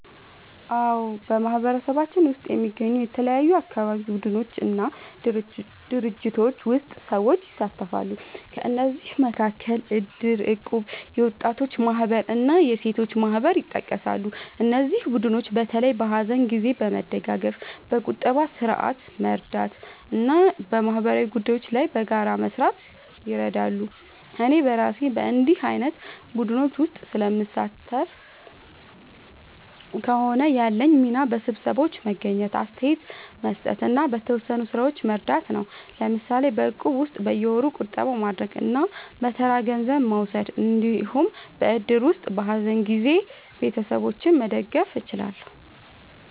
አዎ፣ በማህበረሰባችን ውስጥ የሚገኙ የተለያዩ አካባቢ ቡድኖች እና ድርጅቶች ውስጥ ሰዎች ይሳተፋሉ። ከእነዚህ መካከል እድር፣ እቁብ፣ የወጣቶች ማህበር እና የሴቶች ማህበር ይጠቀሳሉ። እነዚህ ቡድኖች በተለይ በሀዘን ጊዜ መደጋገፍ፣ በቁጠባ ስርዓት መርዳት እና በማህበራዊ ጉዳዮች ላይ በጋራ መስራት ይረዳሉ። እኔ እራሴ በእንዲህ ዓይነት ቡድኖች ውስጥ ስለምሳተፍ ከሆነ፣ ያለኝ ሚና በስብሰባዎች መገኘት፣ አስተያየት መስጠት እና በተወሰኑ ሥራዎች መርዳት ነው። ለምሳሌ በእቁብ ውስጥ በየወሩ ቁጠባ ማድረግ እና በተራ ገንዘብ መውሰድ እንዲሁም በእድር ውስጥ በሀዘን ጊዜ ቤተሰቦችን መደገፍ እችላለሁ።